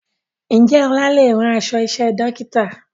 Ǹjẹ́ ọlá lè rán aṣọ iṣẹ́ Dókítà?